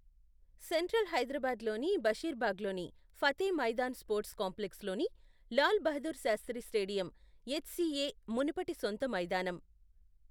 Central హైదరాబాద్లోని బషీర్బాగ్లోని Fateh Maidan sports కాంప్లెక్స్లోని లాల్ బహదూర్ శాస్త్రి స్టేడియం ఎచ్సిఏ మునుపటి సొంత మైదానం.